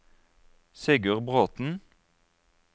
Sigurd Bråten